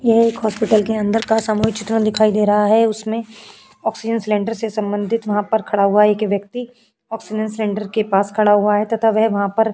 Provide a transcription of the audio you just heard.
यह एक हॉस्पिटल के अंदर का सामूहिक चित्रण दिखाई दे रहा है। उसमें ऑक्सीजन सिलेंडर से संबंधित वहाँ पर खड़ा हुआ एक व्यक्ति ऑक्सीजन सिलेंडर के पास खड़ा हुआ है तथा वह वहाँ पर --